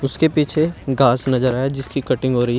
उसके पीछे घास नजर आ रहा है जिसकी कटिंग हो रही है।